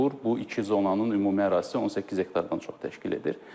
Bu iki zonanın ümumi ərazisi 18 hektardan çox təşkil edir.